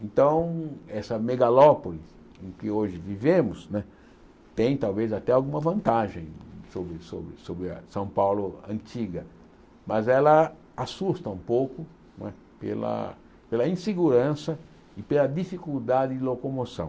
Então, essa megalópole em que hoje vivemos né tem talvez até alguma vantagem sobre sobre sobre a São Paulo antiga, mas ela assusta um pouco né pela insegurança e pela dificuldade de locomoção.